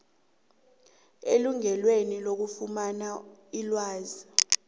elungelweni lokufumana ilwazi